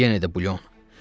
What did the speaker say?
Yenə də bulyon.